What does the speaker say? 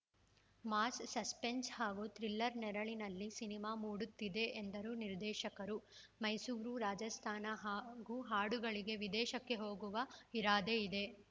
mass suspense ಹಾಗೂ thriller ನೆರಳಿನಲ್ಲಿ cinema ಮೂಡುತ್ತಿದೆ ಎಂದರು ನಿರ್ದೇಶಕರು ಮೈಸೂರು ರಾಜಸ್ತಾನ ಹಾಗೂ ಹಾಡುಗಳಿಗೆ ವಿದೇಶಕ್ಕೆ ಹೋಗುವ ಇರಾದೆ ಇದೆ